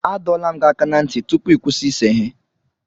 Adọla m gị aka na ntị tupu ị kwụsị ịse ihe.